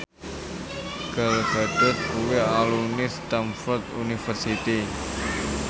Gal Gadot kuwi alumni Stamford University